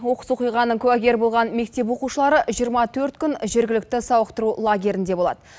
оқыс оқиғаның куәгері болған мектеп оқушылары жиырма төрт күн жергілікті сауықтыру лагерінде болады